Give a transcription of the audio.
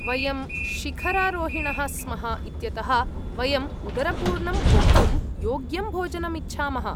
वयं शिखरारोहिणः स्मः इत्यतः, वयम् उदरपूर्णं भोक्तुं योग्यं भोजनम् इच्छामः।